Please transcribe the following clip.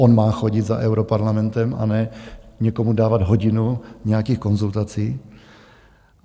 On má chodit za europarlamentem, a ne někomu dávat hodinu nějakých konzultací.